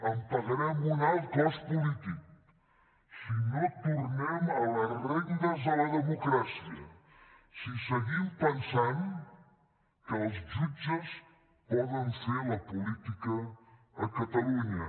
en pagarem un alt cost polític si no tornem a les regnes de la democràcia si seguim pensant que els jutges poden fer la política a catalunya